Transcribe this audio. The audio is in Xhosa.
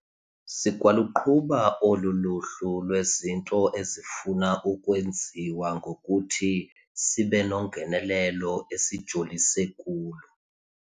Sikwaluqhuba olu luhlu lwezinto ezifuna ukwenziwa ngokuthi sibe nongenelelo esijolise kulo.